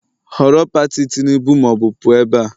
Họrọ Pati Tinubu ma ọ bụ pụọ ebe a!